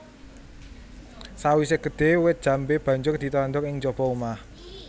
Sawisé gedhé wit jambé banjur ditandur ing njaba omah